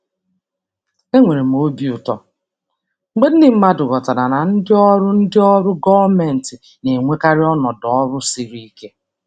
Enwere m obi ụtọ mgbe ndị mmadụ ghọtara na ndị ọrụ ndị ọrụ gọọmentị na-enwekarị ọnọdụ ọrụ siri ike.